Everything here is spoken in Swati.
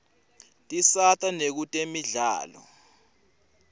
tisata nakutemidlalo